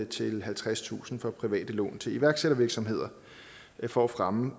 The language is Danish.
til halvtredstusind kroner fra private lån til iværksættervirksomheder for at fremme